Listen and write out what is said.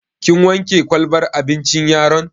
Kin wanke kwalbar abincin yaron?